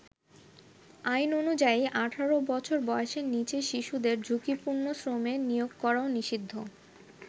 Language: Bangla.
আইন অনুযায়ী ১৮ বছর বয়েসের নীচের শিশুদের ঝুঁকিপূর্ণ শ্রমে নিয়োগ করাও নিষিদ্ধ।